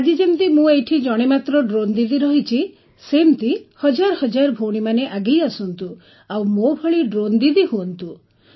ଆଜି ଯେମିତି ମୁଁ ଏଠାରେ ଜଣେ ମାତ୍ର ଡ୍ରୋନ୍ ଦିଦି ରହିଛି ସେମିତି ହଜାର ହଜାର ଭଉଣୀମାନେ ଆଗେଇ ଆସନ୍ତୁ ଓ ଆଉ ମୋ ଭଳି ଡ୍ରୋନ୍ ଦିଦି ହୁଅନ୍ତୁ